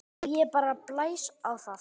Og ég bara blæs á það.